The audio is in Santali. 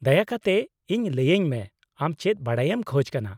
-ᱫᱟᱭᱟ ᱠᱟᱛᱮᱫ ᱤᱧ ᱞᱟᱹᱭᱟᱹᱧ ᱢᱮ ᱟᱢ ᱪᱮᱫ ᱵᱟᱰᱟᱭᱮᱢ ᱠᱷᱚᱡ ᱠᱟᱱᱟ ᱾